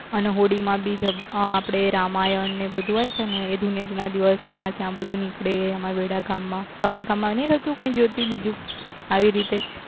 અને હોળી માં બી અ આપડે રામાયણ ને બધું હોય છે ને એ ધુળેટીના દિવસે અમાર ત્યાં બધું નીકળે અમાર વેડાગામ માં તમાર ગામ નહી થતું જ્યોતિ બીજું આવી રીતે